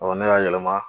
ne y'a yɛlɛma